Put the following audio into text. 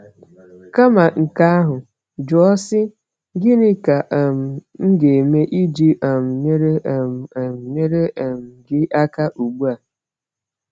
Kama nke ahụ, jụọ sị: “Gịnị ka um m ga-eme iji um nyere um um nyere um gị aka ugbu a?”